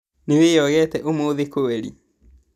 Nĩwĩyogete ũmũthĩ kweri?